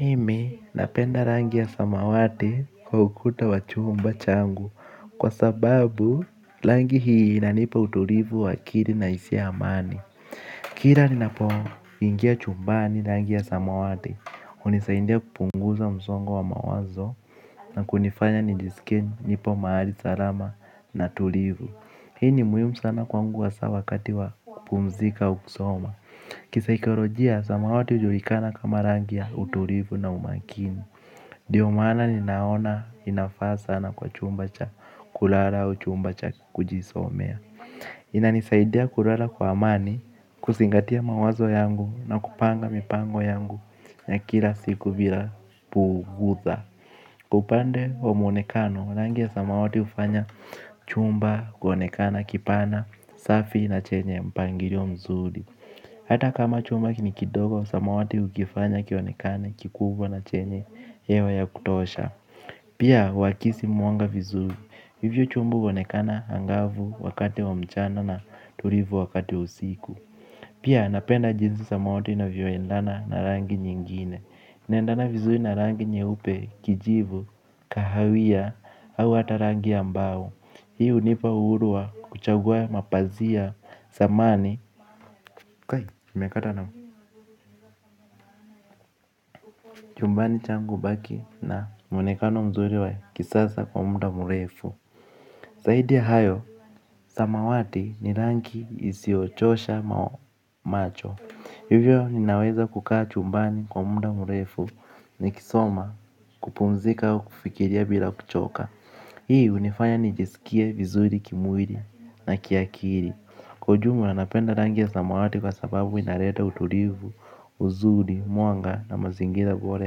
Mimi napenda rangi ya samawati kwa ukuta wa chumba changu kwa sababu rangi hii inanipa utulivu wa akili na hisia ya amani. Kila ninapoingia chumbani rangi ya samawati unisaindia kupunguza msongo wa mawazo na kunifanya nijisike nipo mahali salama na tulivu. Hii ni muhimu sana kwangu hasa wakati wa kupumzika au kusoma. Kisaikolojia, samawati hujulikana kama rangi ya utulivu na umakini ndio maana ninaona inafaa sana kwa chumba cha kulala au chumba cha kujisomea. Inanisaidia kulala kwa amani, kuzingatia mawazo yangu na kupanga mipango yangu ya kila siku bila bugudha kwa upande wa mwonekano, rangi ya samawati hufanya chumba kuonekana kipana, safi na chenye mpangilio mzuri. Hata kama chumba ni kidogo, samawati hukifanya kionekane kikubwa na chenye hewa ya kutosha. Pia, huakisi mwanga vizuri, hivyo chumba huonekana angavu wakati wa mchana na tulivu wakati wa usiku. Pia, napenda jinsi samawati inavyoendana na rangi nyingine inaendana vizui na rangi nyeupe kijivu kahawia au hata rangi mbao. Hii hunipa uhuru wa kuchagua mapazia samani. Kwai, mekata na chumbani changu hubaki na mwonekano mzuri wa kisasa kwa muda mrefu zaidi ya hayo, samawati ni rangi isiyochosha macho. Hivyo, ninaweza kukaa chumbani kwa muda murefu. Nikisoma kupumzika wa kufikiria bila kuchoka. Hii hunifanya nijisikie vizuri kimwili na kiakili kwa ujumla napenda rangi ya samawati kwa sababu inaleta utulivu, uzuri, mwanga na mazingira bora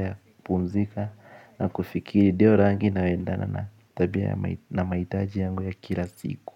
ya kupumzika. Na kufikiri dio rangi inayoendana na tabia na mahitaji yangu ya kila siku.